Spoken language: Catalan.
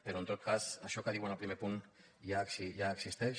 però en tot cas això que diuen al primer punt ja existeix